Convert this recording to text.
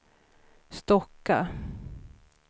Stocka